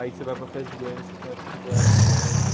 Aí você vai para a festa de Goiânia, você conhece o de Goiás Velho.